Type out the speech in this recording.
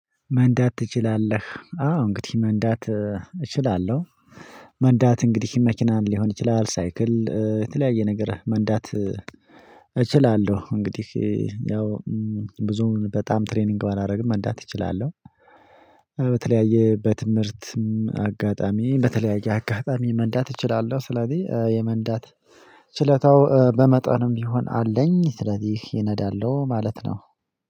መንዳት ትችላለህ? አዎ እንግዲህ መንዳት እችላለሁ። መንዳት እንግዲህ መኪናን ሊሆን ይችላል ሳይክል የተለያየ ነገር መንዳት እችላለሁ። እንግዲህ ያው ብዙም በጣም ትሬኒንግ ባላደርግም መንዳት እችላለሁ። በተለያየ በትምህርትም አጋጣሚ በተለያየ አጋጣሚ መንዳት እችላለሁ። ስለዚህ የመንዳት ችለታው በመጠኑም ቢሆን አለኝ ስለዚህ እነዳለሁ ማለት ነው።